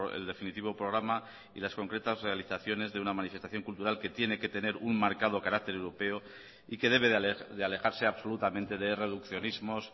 el definitivo programa y las concretas realizaciones de una manifestación cultural que tiene que tener un marcado carácter europeo y que debe de alejarse absolutamente de reduccionismos